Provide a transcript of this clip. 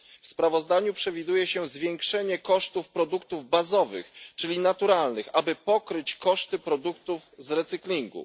W sprawozdaniu przewiduje się zwiększenie kosztów produktów bazowych, czyli naturalnych, aby pokryć koszty produktów z recyklingu.